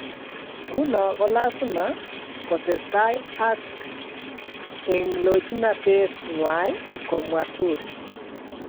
Nguno kolasimaa kotesetaai ak eeloojnateet ng'wai," komwaa Turi